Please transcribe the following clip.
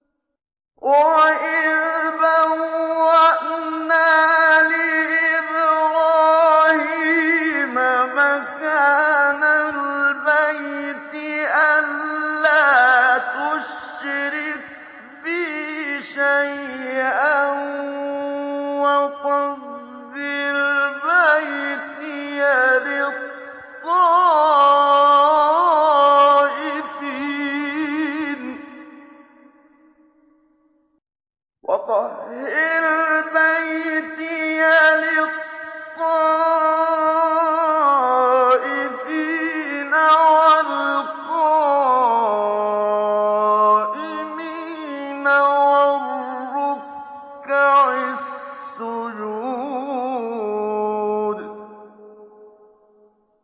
وَإِذْ بَوَّأْنَا لِإِبْرَاهِيمَ مَكَانَ الْبَيْتِ أَن لَّا تُشْرِكْ بِي شَيْئًا وَطَهِّرْ بَيْتِيَ لِلطَّائِفِينَ وَالْقَائِمِينَ وَالرُّكَّعِ السُّجُودِ